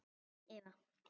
Þín Eva